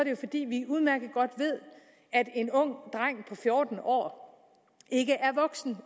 jo fordi vi udmærket godt ved at en ung dreng på fjorten år ikke er voksen